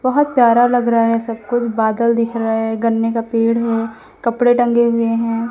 बहोत प्यारा लग रहा है सब कुछ बादल दिख रहा है गन्ने का पेड़ है कपड़े टंगे हुए हैं।